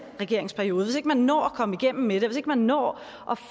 regeringsperiode altså hvis ikke man når at komme igennem med det og hvis ikke man når at